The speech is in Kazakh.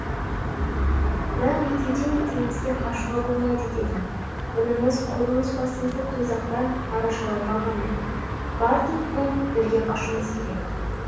бірақ екеуден екеумізге қашуға болмайды дедім бұнымыз құр өз басымызды дозақтан арашалау ғана бар тұтқын бірге қашуымыз керек